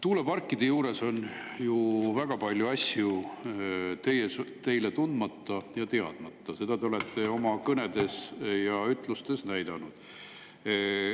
Tuuleparkide juures on ju väga palju asju teile tundmatud ja teadmata, seda te olete oma kõnedes ja ütlustes näidanud.